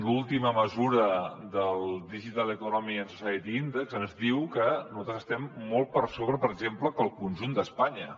l’últim mesurament del digital economy and society index ens diu que nosaltres estem molt per sobre per exemple que el conjunt d’espanya